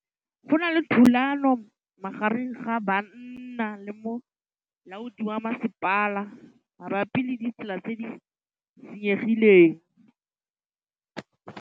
Go na le thulanô magareng ga banna le molaodi wa masepala mabapi le ditsela tse di senyegileng.